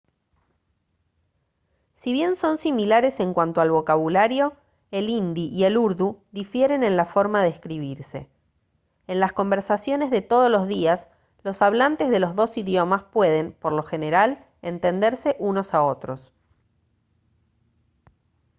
si bien son similares en cuanto al vocabulario el hindi y el urdu difieren en la forma de escribirse en las conversaciones de todos los días los hablantes de los dos idiomas pueden por lo general entenderse unos a otros